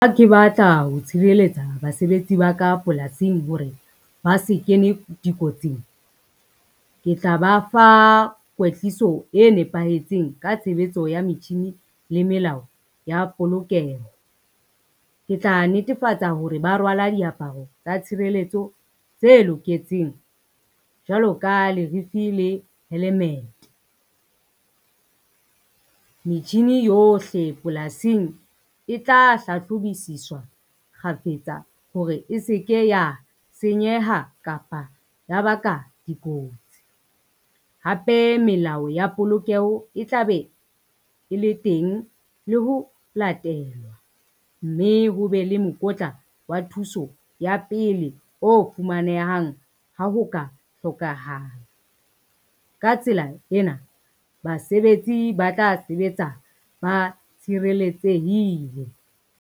Ha ke batla ho tshireletsa basebetsi ba ka polasing hore ba se kene dikotsing, ke tla ba fa kwetliso e nepahetseng ka tshebetso ya metjhini le melao ya polokeho. Ke tla netefatsa hore ba rwala diaparo tsa tshireletso tse loketseng, jwalo ka lerifi le helemete. Metjhini yohle polasing e tla hlahlobisiswa kgafetsa hore e se ke ya senyeha kapa ya baka dikotsi. Hape melao ya polokeho e tla be e le teng le ho latelwa, mme ho be le mokotla wa thuso ya pele o fumanehang ha ho ka hlokahala. Ka tsela ena basebetsi ba tla sebetsa ba tshireletsehile.